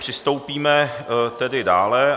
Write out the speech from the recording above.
Postoupíme tedy dále.